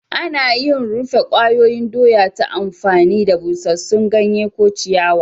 Ana yin rufe kwayoyin doya ta amfani da busassun ganye ko ciyawa.